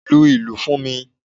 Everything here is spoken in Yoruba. Lu ìlù fún mi!